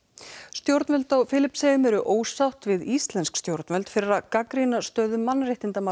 stjórnvöld á Filippseyjum eru ósátt við íslensk stjórnvöld fyrir að gagnrýna stöðu mannréttindamála